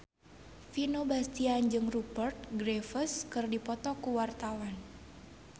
Vino Bastian jeung Rupert Graves keur dipoto ku wartawan